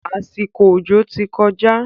Àsìkò òjò ti kọjá.